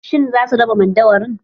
Shin za su raba madauwarin?